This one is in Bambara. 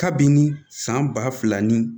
Kabini san ba fila ni